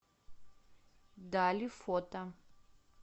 дали фото